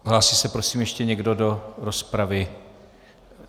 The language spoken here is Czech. Hlásí se prosím ještě někdo do rozpravy?